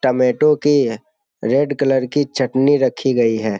Tomato की red colour की चटनी रखी गई है ।